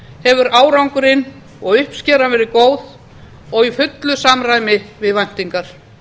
hefur árangurinn og uppskeran verið góð og í fullu samræmi við væntingar